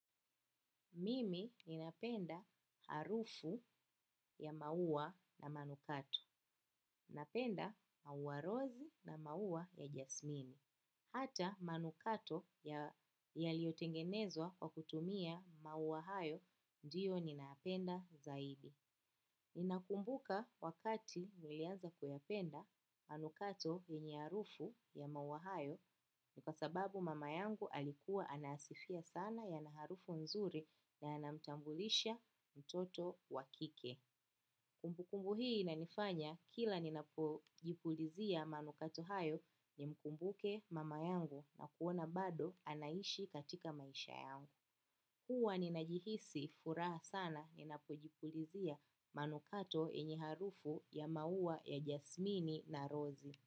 Mimi ninapenda harufu ya maua na manukato. Ninapenda maua rozi na maua ya jasmini. Hata manukato yaliotengenezwa kwa kutumia maua hayo, ndiyo ninayapenda zaidi. Ninakumbuka wakati nilianza kuyapenda manukato yenye harufu ya maua hayo. Ni kwa sababu mama yangu alikuwa anayasifia sana yana harufu nzuri na yanamtambulisha mtoto wa kike. Kumbukumbu hii inanifanya kila ninapojipulizia manukato hayo nimkumbuke mama yangu na kuona bado anaishi katika maisha yangu. Huwa ninajihisi furaha sana ninajipulizia manukato yenye harufu ya maua ya rozi na jasmini.